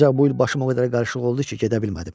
Ancaq bu il başım o qədər qarışıq oldu ki, gedə bilmədim.